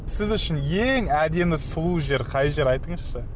сіз үшін ең әдемі сұлу жер қай жер айтыңызшы